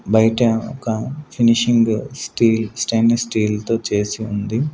బయట ఒక finishing steel stainless steel తో చేసి ఉంది.